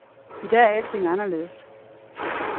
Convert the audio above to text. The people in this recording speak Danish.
I dag er alting anderledes.